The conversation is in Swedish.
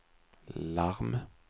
larm